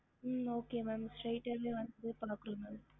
ஹம்